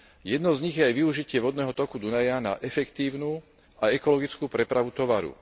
Jednou z nich je aj využitie vodného toku Dunaja na efektívnu a ekologickú prepravu tovaru.